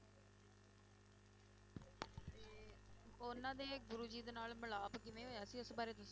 ਉਹਨਾਂ ਦੇ ਗੁਰੂ ਜੀ ਦੇ ਨਾਲ ਮਿਲਾਪ ਕਿਵੇਂ ਹੋਇਆ ਸੀ, ਇਸ ਬਾਰੇ ਦੱਸੋ।